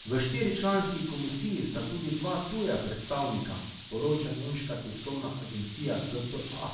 V štiričlanski komisiji sta tudi dva tuja predstavnika, poroča nemška tiskovna agencija dpa.